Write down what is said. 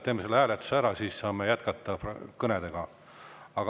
Teeme selle hääletuse ära, siis saame kõnedega jätkata.